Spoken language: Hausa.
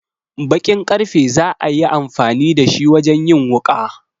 Bakin karfe za a yi amfani da shi wajen yin wuƙa.